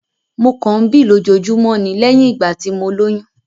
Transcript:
Mo kàn ń bí lójoojúmọ́ ni lẹ́yìn ìgbà tí mo lóyún